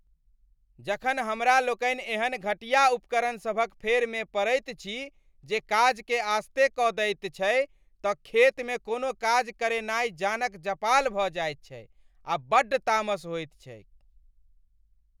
जखन हमरा लोकनि एहन घटिया उपकरणसभक फेरमे पड़ैत छी जे काजकेँ आसते कऽ दैत छै तँ खेतमे कोनो काज करेनाइ जानक जपाल भऽ जायत छै आ बड्ड तामस होइत छैक।